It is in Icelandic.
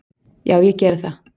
"""Já, ég geri það."""